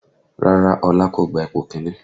Rárá Ọlá kò gba ipò kìíní